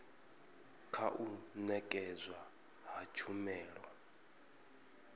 kha u nekedzwa ha tshumelo